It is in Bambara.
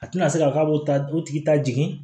A tɛna se ka k'a b'o ta o tigi ta jigin